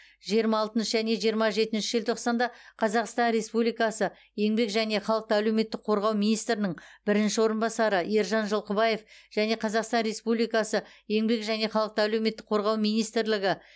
жиырма алтыншы және жиырма жетінші желтоқсанда қазақстан республикасы еңбек және халықты әлеуметтік қорғау министрінің бірінші орынбасары ержан жылқыбаев және қазақстан республикасы еңбек және халықты әлеуметтік қорғау министрлігі